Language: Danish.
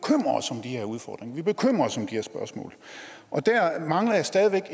her udfordringer vi bekymrer os om de her spørgsmål og der mangler jeg stadig væk